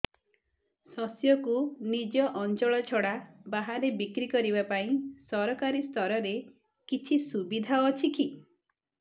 ଶସ୍ୟକୁ ନିଜ ଅଞ୍ଚଳ ଛଡା ବାହାରେ ବିକ୍ରି କରିବା ପାଇଁ ସରକାରୀ ସ୍ତରରେ କିଛି ସୁବିଧା ଅଛି କି